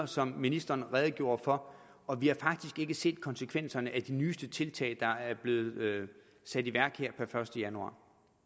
som ministeren redegjorde for og vi har faktisk ikke set konsekvenserne af de nyeste tiltag der er blevet sat i værk her per første januar